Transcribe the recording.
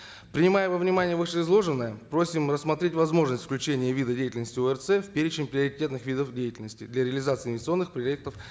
принимая во внимание вышеизложенное просим рассмотреть возможность включения вида деятельности орц в перечень приоритетных видов деятельности для реализации инвестиционных проектов